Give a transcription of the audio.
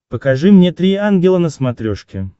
покажи мне три ангела на смотрешке